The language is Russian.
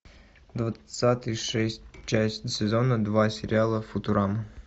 двадцатый шесть часть сезона два сериала футурама